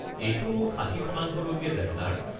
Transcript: এইটো ষাঠি শতাংলৈকে যায় ছাৰ।